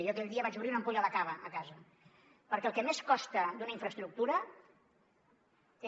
jo aquell dia vaig obrir una ampolla de cava a casa perquè el que més costa d’una infraestructura és